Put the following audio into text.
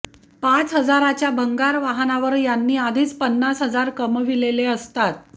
पाच हजाराच्या भंगार वाहनावर यांनी आधीच पन्नास हजार कमविलेले असतात